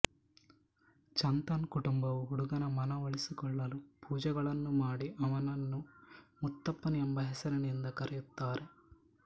ಚಂತನ್ ಕುಟುಂಬವು ಹುಡುಗನ ಮನ ಒಲಿಸಿಕೊಳ್ಳಲು ಪೂಜೆಗಳನ್ನು ಮಾಡಿ ಅವನನ್ನು ಮುತ್ತಪ್ಪನ್ ಎಂಬ ಹೆಸರಿನಿಂದ ಕರೆಯುತ್ತಾರೆ